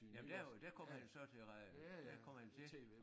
Jamen der er jo der kom han jo så til der kom han til